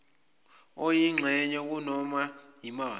oyingxenye nakunoma yimaphi